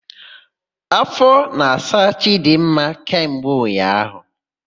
Áfọ na-asa Chidimma kemgbe ụnyaahụ.